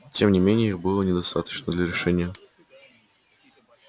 тем не менее их было недостаточно для решения